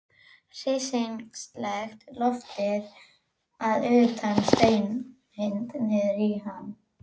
Fyrir þeim er grunnskólinn raunverulegur skóli.